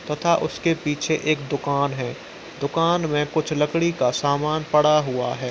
तथा उसके पीछे एक दुकान है। दुकान में कुछ लकड़ी का सामान पड़ा हुआ है।